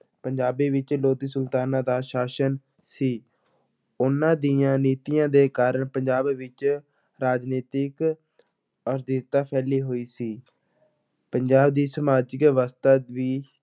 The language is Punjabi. ਪੰਜਾਬ ਵਿੱਚ ਲੋਧੀ ਸੁਲਤਾਨਾਂ ਦਾ ਸ਼ਾਸਨ ਸੀ, ਉਹਨਾਂ ਦੀਆਂ ਨੀਤੀਆਂ ਦੇ ਕਾਰਨ ਪੰਜਾਬ ਵਿੱਚ ਰਾਜਨੀਤਿਕ ਅਸਥਿਰਤਾ ਫੈਲੀ ਹੋਈ ਸੀ ਪੰਜਾਬ ਦੀ ਸਮਾਜਿਕ ਅਵਸਥਾ ਵੀ